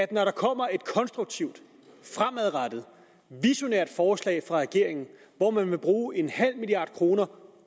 der er kommer et konstruktivt fremadrettet visionært forslag fra regeringen hvor man vil bruge en halv milliard kroner